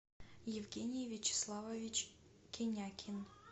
евгений вячеславович кенякин